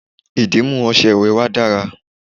ìdìmú ọṣẹ ìwẹ̀ wa dara